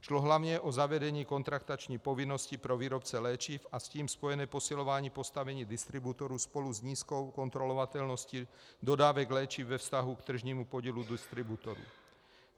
Šlo hlavně o zavedení kontraktační povinnosti pro výrobce léčiv a s tím spojené posilování postavení distributorů spolu s nízkou kontrolovatelností dodávek léčiv ve vztahu k tržnímu podílu distributorů.